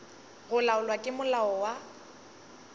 go laolwa ke molao wa